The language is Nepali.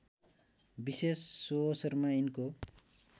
विशेष सुअवसरमा यिनको